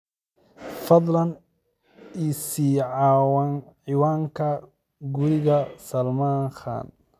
fadlan i sii ciwaanka guriga Salman khan